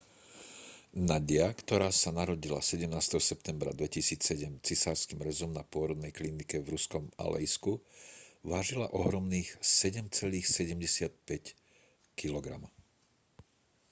nadia ktorá sa narodila 17. septembra 2007 cisárskym rezom na pôrodnej klinike v ruskom aleisku vážila ohromných 7,75 kg